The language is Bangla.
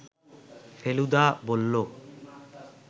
ফেলুদা বলল